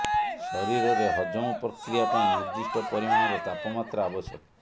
ଶରୀରରେ ହଜମ ପ୍ରକ୍ରିୟା ପାଇଁ ନିର୍ଦ୍ଦିଷ୍ଟ ପରିମାଣର ତାପମାତ୍ରା ଆବଶ୍ୟକ